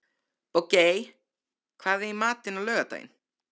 Bogey, hvað er í matinn á laugardaginn?